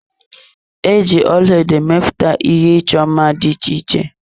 E ji ọlaedo emepụta ihe ịchọ mma dị iche iche.